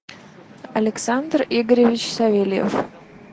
александр игоревич савельев